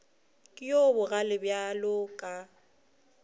ke yo bogale bjalo ka